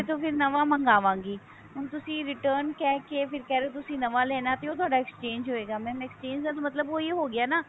ਫਿਰ ਨਵਾ ਮਗਾਵਾਂਗੀ ਹੁਣ ਤੁਸੀਂ return ਕਹਿ ਕੇ ਫੇਰ ਕਹਿ ਰਹੇ ਹੋ ਤੁਸੀਂ ਨਵਾ ਲੇਣਾ ਸੀ ਉਹ ਤੁਹਾਡਾ exchange ਹੋਏਗਾ exchange ਦਾ ਤਾਂ ਮਤਲਬ ਉਹੀ ਹੋ ਗਿਆ ਨਾ